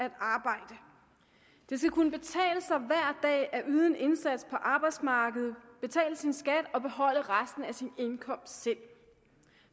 at arbejde det skal kunne betale sig hver dag at yde en indsats på arbejdsmarkedet betale sin skat og beholde resten af sin indkomst selv